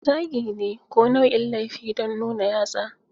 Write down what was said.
Zagi ne ko nau'in laifi don nuna yatsa.